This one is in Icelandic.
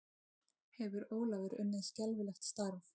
Hefur Ólafur unnið skelfilegt starf?